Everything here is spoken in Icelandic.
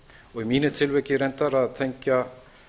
og í mínu tilviki reyndar að tengja